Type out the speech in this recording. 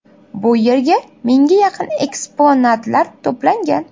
Bu yerda mingga yaqin eksponatlar to‘plangan.